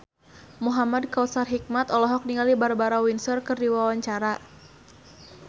Muhamad Kautsar Hikmat olohok ningali Barbara Windsor keur diwawancara